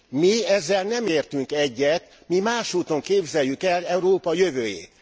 Mi ezzel nem értünk egyet, mi más úton képzeljük el Európa jövőjét.